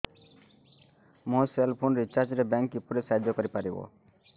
ମୋ cell phone recharge ରେ bank କିପରି ସାହାଯ୍ୟ କରିପାରିବ